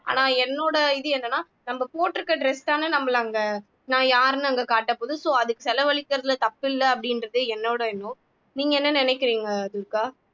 ஆனா என்னோட இது என்னன்னா நம்ம போட்டிருக்கிற dress தானே நம்மளை அங்க நான் யாருன்னு அங்க காட்டப்போகுது so அதுக்கு செலவழிக்கிறதுல தப்பு இல்லை அப்படின்றது என்னோட எண்ணம் நீங்க என்ன நினைக்கிறீங்க துர்கா